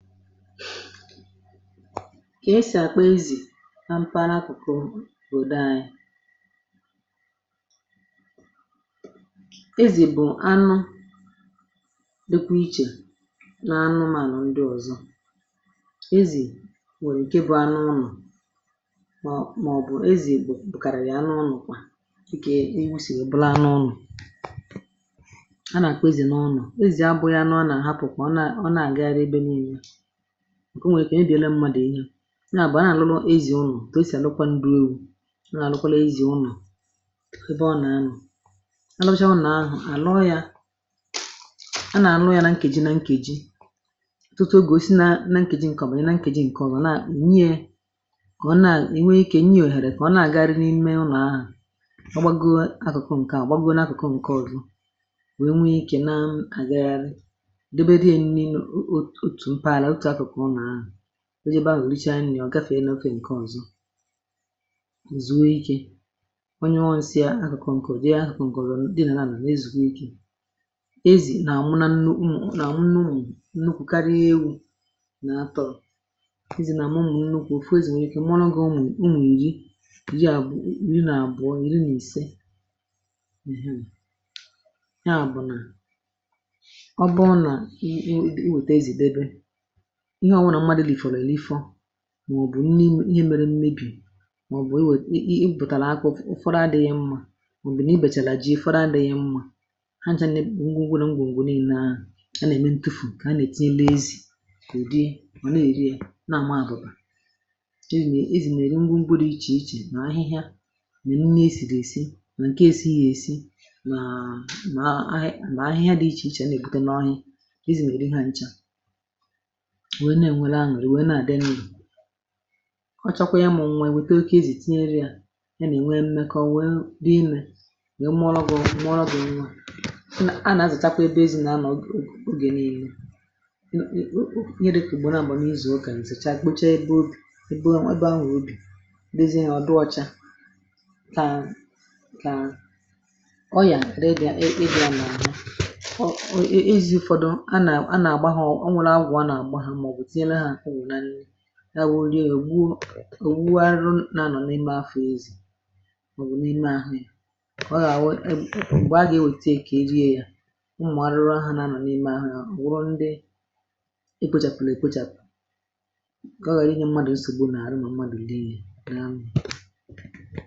kà esì àkpọ ezì na mpaghara akụ̀kụ bụ̀ odo anyị ezì bụ̀ anụ dịkwụ[eh]ichè nà anụmanụ̀ ndị ọ̀zọ ezì nwèrè ike bụ̇ anụ ụnọ̀[um]màọ̀bụ̀ ezì bụ̀ kàràghì anụ ụnọ̀ kwà[ah]íkè n’iwu sì ọbụla anụ ụnọ̀ a nàkwezì n’ụnọ̀ezì abụghị anụ anụ àhapụ̀kwà ọ na-àgara ebe niile[um]ǹkẹ̀ o nwèrè ike ànẹ dị̀ ẹlẹ mmadụ̀[eh]ínya nà à bụ̀ a nà àlụlụ ezì̇ unù dòo si àlụkwa ǹdùlu̇ a nà àlụkwala ezì̇ unù ebe ọ nà[um]anụ̀ àlàkwàcha unù àlụ ya a nà àlụ ya nà nkè ji nà nkè ji tutu ogò si nȧ nà nke ji ǹkọ̀ bànyè nà nke ji ǹkẹ̀ ọba nà nni yȧ kà ọ nà[eh]ìnwe ikė nni yȧ òhèrè kà ọ nà àgari n’ime unù ahụ̀ ọ gbagoro akụ̀kọ ǹkẹ̀ àgbagoro nà akụ̀kọ ǹkẹ̀ ọrụ wee nwe ikė nà àgagharị[um]o jebe ahụ̀ rịchà nniọ̀ gafèe n’okè ǹkè ọ̀zọzùwe ikė onye ọ̇nsịa akọ̀kọ̀ ụ̀dị ahụ̇kọ̀ ǹkè ụ̀dị nà nà nà ezùkè ike ezì nà mụ nȧ nnu nà nnu m nukwù karịa ewu̇ nà atọ̇ ezì nà mụ nukwù[eh]ofu ezì nà nwere ike mọ̀ nà ga ụmụ̀[ah]ụmụ̀ ìri ìri nà àbụọ̇ ìri nà ìse à bụ̀ nà ọ bụọ nà i wète ezì debe ihe ọwụrụ mmadụ dị̀ fọ̀rọ̀ èle ifọ mà ọ̀ bụ̀ nne m[eh]ihe mere mmebì mà ọ̀ bụ̀ e wèe[um]ị bùtàlà akụ ụfọdụ adị̇ghị mmȧ mà ọ̀ bụ̀ nà i bèchàlà ji[ah]ị fọdụ adị̇ghị mmȧ ha nchȧ nà ihe ngwụ ngwụ ngwụ ngwụ nà ị na aà a nà ẹ̀mẹ ntufù kà ha nà ètinye n’ezì èdi mà na èri ya na àma àdụ̀bà ezì nà ezì nà èri ngwụ ngwụ rie ichè ichè nà ahịhịa nà ihe nà esì dì esi nà ǹke esighi èsi nà ahị nà ahị ahịhịa dị ichè ichè ichè nà èbute n’ọhị ezì nà èri ha nchȧ kọ̀chakwa yȧ mụ̀ nwa èwète oke ezì tinyere yȧ ya nà ènwe mmekọ wee neenwe nà èmụrọgu mmụọ bụ̇ nwa a nà azụ̀chakwa ebe ezi nà anọ̀ ogè ogè niile ihe dị ka ùgbò nà àbọ̀ nà izù okȧ ǹsìchaa kpochaa ebe ȯbi̇ èbe ȯbi̇ ebe ahụ̀ obì ezi nà ọ dị ọchȧ kà ọ yà rega ebe a nà àhụ ọ ezi ụ̀fọdụ a nà a nà àgbagho ya wụ̀ nriė ògwù arụ nȧnọ n’ime afọ̇ ezì màọbụ̀ n’ime ahụ̀ ya ọ gà-àwụ e bụ a gà-ewètè ǹkè ejìe ya ụmụ̀ arụrụ àhụ n’anọ̀ n’ime ahụ̀ ya wụrụ ndị e kpochàpụ̀lọ̀ èkpochàpụ̀ ọ gà-ànyị mmadụ̀ nsògbu nà-àrụ nà mmadụ̀ idi yà nà m